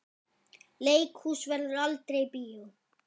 Leikhús verður aldrei bíó.